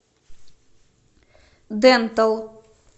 дентал